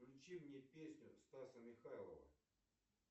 включи мне песню стаса михайлова